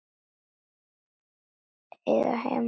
Eiga heima þar.